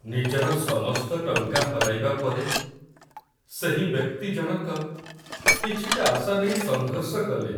ନିଜର ସମସ୍ତ ଟଙ୍କା ହରାଇବା ପରେ, ସେହି ବ୍ୟକ୍ତି ଜଣକ କିଛିଟା ଆଶା ନେଇ ସଂଘର୍ଷ କଲେ।